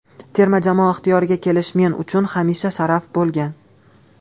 Terma jamoa ixtiyoriga kelish men uchun hamisha sharaf bo‘lgan.